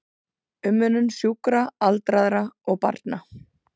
Umönnun sjúkra, aldraðra og barna.